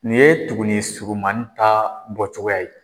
Nin ye tugunnin surumannin ta bɔcogoya ye